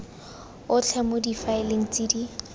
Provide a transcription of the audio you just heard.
otlhe mo difaeleng tse di